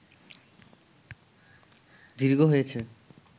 দীর্ঘ হয়েছে